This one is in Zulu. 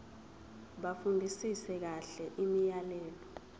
bafundisise kahle imiyalelo